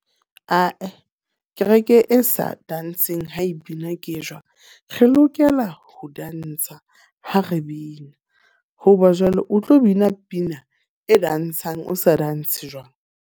Ah-eh, kereke e sa tantsheng ha e bina ke e jwang? Re lokela ho tantsha ha re bina. Hoba jwale o tlo bina pina e tantshang, o sa tantshe jwang?